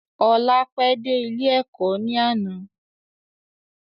Ọlá pẹ de ilé Ẹ̀kọ́ ni àná.